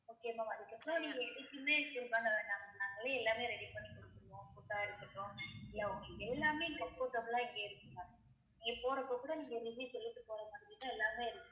Okay ma'am அதுக்கு அப்றம் நீங்க எதுக்குமே feel பண்ண வேணாம் நாங்களே எல்லாமே ready பண்ணி குடுத்திருவோம் food அ இருக்கட்டும் இல்ல உங்களுக்கு எல்லாமே comfortable லா இங்க இருக்கு ma'am நீங்க போறப்ப கூட நீங்க review சொல்லிட்டு போறமாதிரி தான் எல்லாமே இருக்கும்